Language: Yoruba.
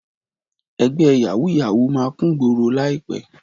Ẹgbẹ́ yàwúù-yàwúù máa kúngboro láìpẹ́.